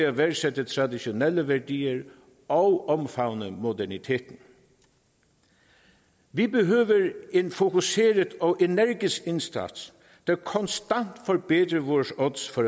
at værdsætte traditionelle værdier og omfavner moderniteten vi behøver en fokuseret og energisk indsats der konstant forbedrer vores odds for